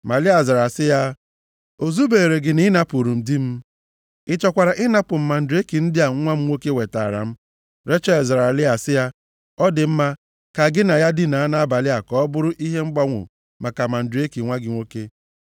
Ma Lịa zara sị ya, “O zubeere gị na ị napụrụ m di m? Ị chọkwara ịnapụ m mandreki ndị a nwa m nwoke wetaara m?” Rechel zara Lịa sị, “Ọ dị mma, ka gị na ya dinaa nʼabalị a ka ọ bụrụ ihe mgbanwo maka mandreki nwa gị nwoke.”